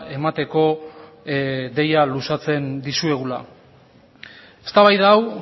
emateko deia luzatzen dizuegula eztabaida hau